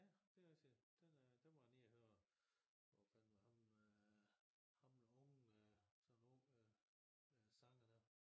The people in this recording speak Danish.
Ja det rigtigt den er der var jeg nede og høre hvad fanden var ham øh ham den unge sådan en ung øh øh sanger der